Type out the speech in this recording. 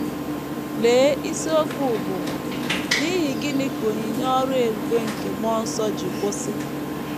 Lee isiokwu bụ́ “ N’ihi Gịnị Ka Onyinye Ọrụ Ebube nke Mmụọ Nsọ Ji Kwụsị? ”